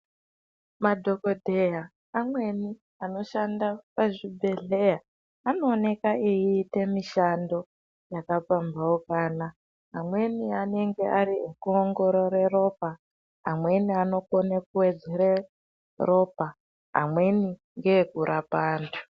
Madhokodheya amweni anoshaanda pazvibhedhleya anooneka eiite mishando yakapamhaukana amweni anenge ari ekuongorore ropa, amweni anokone kuwedzere ropa amweni ngeekurapa antu.